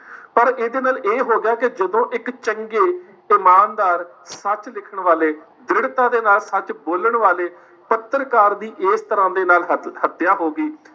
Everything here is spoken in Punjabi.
ਪਰ ਇਹਦੇ ਨਾਲ ਇਹ ਹੋ ਗਿਆ ਕਿ ਜਦੋਂ ਇੱਕ ਚੰਗੇ ਤੇ ਇਮਾਨਦਾਰ, ਸੱਚ ਲਿਖਣ ਵਾਲੇ, ਦ੍ਰਿੜਤਾ ਦੇ ਨਾਲ ਸੱਚ ਬੋਲਣ ਵਾਲੇ, ਪੱਤਰਕਾਰ ਦੀ ਇਸ ਤਰਾਂ ਦੇ ਨਾਲ ਹ ਹੱਤਿਆ ਹੋ ਗਈ